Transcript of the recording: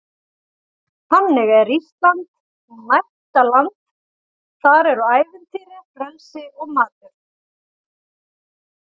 Þannig er Ísland gnægtaland- þar eru ævintýri, frelsi og matur.